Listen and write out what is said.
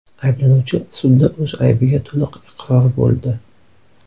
Ayblanuvchi sudda o‘z aybiga to‘liq iqror bo‘ldi.